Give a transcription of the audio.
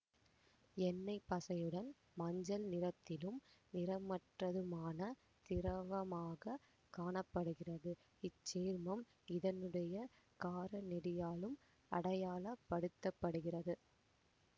எண்ணெய்ப்பசையுடன் மஞ்சள் நிறத்திலும் நிறமற்றதுமான திரவமாக காண படுகிறது இச்சேர்மம் இதனுடைய காரநெடியாலும் அடையாள படுத்தப்படுகிறது